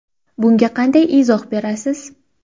Bunga qanday izoh berasiz?